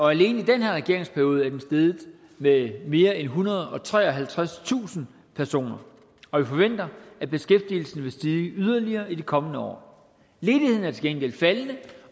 alene i den her regeringsperiode er den steget med mere end ethundrede og treoghalvtredstusind personer og vi forventer at beskæftigelsen vil stige yderligere i de kommende år ledigheden er til gengæld faldende